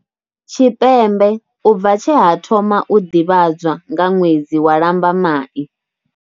Tshipembe u bva tshe ha thoma u ḓivhadzwa nga ṅwedzi wa Lambamai.